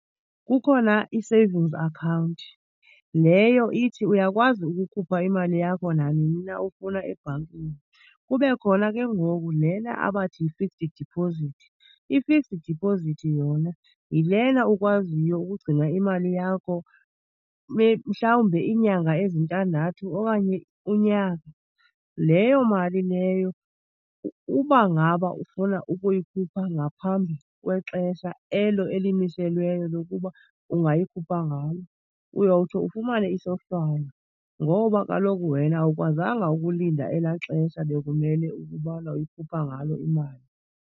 Kukhona i-savings akhawunti. Leyo ithi uyakwazi ukukhupha imali yakho nanini na ufuna ebhankini. Kube khona ke ngoku lena abathi yi-fixed deposit. I-fixed deposit yona yilena ukwaziyo ukugcina imali yakho mhlawumbe iinyanga ezintandathu okanye unyaka. Leyo mali leyo uba ngaba ufuna ukuyikhupha ngaphambi kwexesha elo elimiselweyo lokuba ungayikhupha ngalo, uyawuthi ufumane isohlwayo ngoba kaloku wena awukwazanga ukulinda elaa xesha bekumele ukubana uyikhupha ngalo imali.